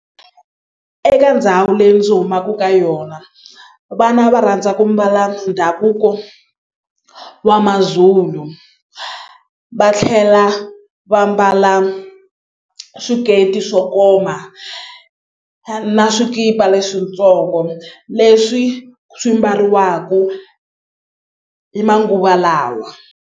Eka ndhawu leyi ndzi humaku ka yona vana va rhandza ku mbala ndhavuko wa Mazulu va tlhela va mbala swiketi swo koma na swikipa leswitsongo leswi swi mbariwaku i manguva lawa.